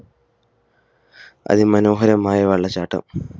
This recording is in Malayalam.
അതിമനോഹരമായ വെള്ളച്ചാട്ടം